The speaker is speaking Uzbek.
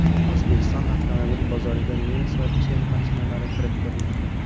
O‘zbek avtomobil bozoriga nemis va chex mashinalari kirib kelmoqda .